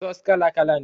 Sos kala kala ne